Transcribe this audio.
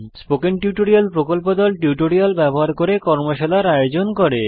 spoken tutorial প্রকল্প দল tutorial ব্যবহার করে কর্মশালার আয়োজন করে